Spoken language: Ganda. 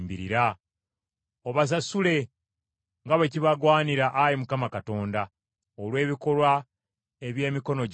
Obasasule nga bwe kibagwanira Ayi Mukama Katonda, olw’ebikolwa eby’emikono gyabwe.